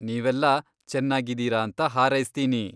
ನೀವೆಲ್ಲಾ ಚೆನ್ನಾಗಿದೀರಾ ಅಂತ ಹಾರೈಸ್ತೀನಿ.